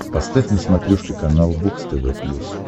поставь на смотрешке канал бокс тв плюс